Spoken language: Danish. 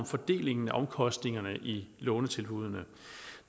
fordelingen af omkostningerne i lånetilbuddene